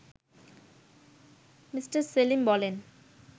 me Selim বলেন